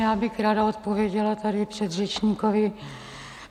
Já bych ráda odpověděla tady předřečníkovi.